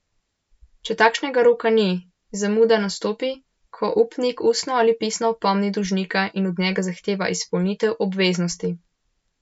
Če takšnega roka ni, zamuda nastopi, ko upnik ustno ali pisno opomni dolžnika in od njega zahteva izpolnitev obveznosti.